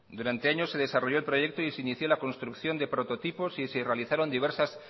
durante años se desarrolló el proyecto y se inició la construcción de prototipos y se realizaron diversas